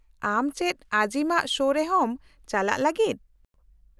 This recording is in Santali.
-ᱟᱢ ᱪᱮᱫ ᱟᱡᱤᱢᱟᱜ ᱥᱳ ᱨᱮᱦᱚᱸᱢ ᱪᱟᱞᱟᱜ ᱞᱟᱹᱜᱤᱫ ?